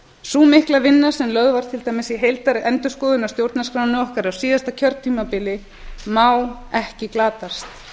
sú mikla vinna sem lögð var til dæmis í heildarendurskoðun á stjórnarskránni okkar á síðasta kjörtímabili má ekki glatast